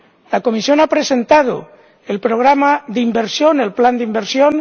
La Comisión ha presentado el programa de inversión, el plan de inversión